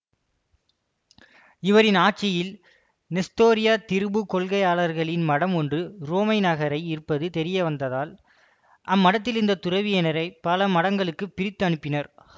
இவரின் ஆட்சியில் நெஸ்தோரிய திரிபுக் கொள்கையாளர்களின் மடம் ஒன்று உரோமை நகரில் இருப்பது தெரியவந்ததால் அம்மடத்தில் இருந்த துறவியனரை பல மடங்களுக்கு பிரித்து அனுப்பினார்